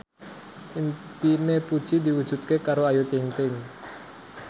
impine Puji diwujudke karo Ayu Ting ting